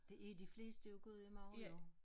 De er de fleste i Gudhjem også jo